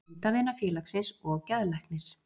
Hundavinafélagsins og geðlæknir.